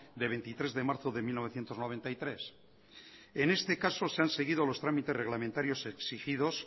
de veintitrés de marzo de mil novecientos noventa y tres en este caso se han seguido los trámites reglamentarios exigidos